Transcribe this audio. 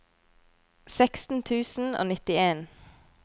seksten tusen og nittien